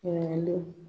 Ɲininkaliw